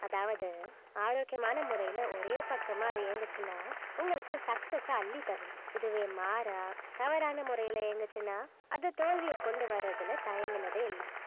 அதாவது ஆரோக்கியமான முறையில ஒரே பக்கமா அது இயங்குச்சுன்னா உங்களுக்கு success அ அள்ளித்தரும் இதுவே மாறா தவறான முறையில இயங்குச்சுன்னா அது தோல்வியை கொண்டு வர்றதுல தயங்குனதே இல்லை